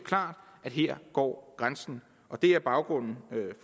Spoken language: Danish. at her går grænsen og det er baggrunden